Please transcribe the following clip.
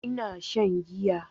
Ina shan giya